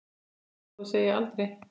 Aldrei skal þó segja aldrei.